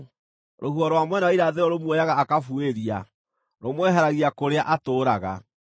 Rũhuho rwa mwena wa Irathĩro rũmuoyaga akabuĩria; rũmweheragia kũrĩa atũũraga.